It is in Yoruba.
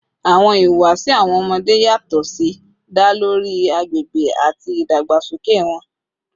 Awọn ihuwasi awọn ọmọde yatọ si da lori agbegbe ati idagbasoke wọn